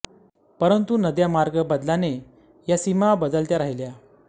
परंतु नद्या मार्ग बदलाने या सीमा बदलत्या राहिल्या